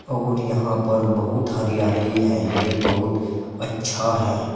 और यहां पर बहुत हरियाली है ये बहुत अच्छा है।